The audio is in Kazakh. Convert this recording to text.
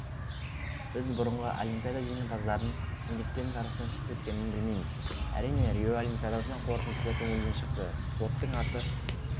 біз бұрынғы олимпиада жеңімпаздарын неліктен жарыстан шеттеткенін білмейміз әрине рио олимпиадасының қорытындысы көңілден шықты спорттың аты